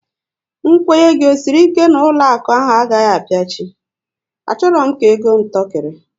Nkwenye gị ọ sịrị ike na ụlọakụ ahụ agaghị apiachi? A chọrọ m ka ego m tọkiri